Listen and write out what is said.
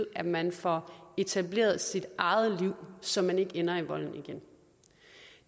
at man får etableret sit eget liv så man ikke ender i volden igen